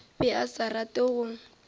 be a sa rate go